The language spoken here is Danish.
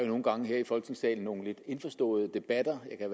nogle gange her i folketingssalen nogle lidt indforståede debatter jeg